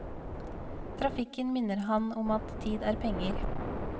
Trafikken minner han om at tid er penger.